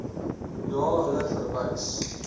na hulle verwys